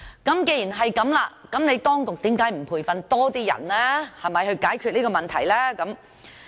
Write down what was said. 既然如此，為何當局不培訓更多人來解決這問題呢？